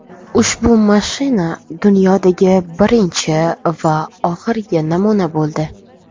Ushbu mashina dunyodagi birinchi va oxirgi namuna bo‘ldi.